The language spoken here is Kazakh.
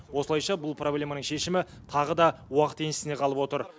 осылайша бұл проблеманың шешімі тағы да уақыт еншісіне қалып отыр